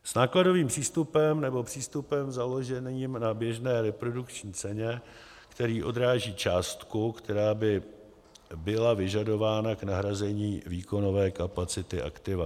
s nákladovým přístupem nebo přístupem založeným na běžné reprodukční ceně, který odráží částku, která by byla vyžadována k nahrazení výkonové kapacity aktiva.